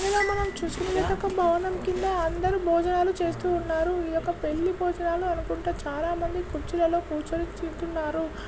చూసుకున్నట్టయితే ఒక భవనం కింద అందరూ భోజనాలు చేస్తూ ఉన్నారు. ఇది ఒక పెళ్లి భోజనాల అనుకుంటా చాలామంది కుర్చీలలో కూర్చొని తింటున్నారు.